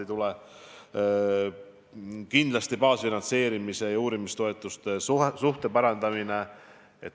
Kindlasti on tähtis baasfinantseerimise ja uurimistoetuste suhte parandamine.